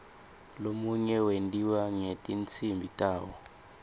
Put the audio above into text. lomunye wentiwa ngetinsimbi tawo